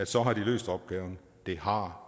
så har løst opgaven det har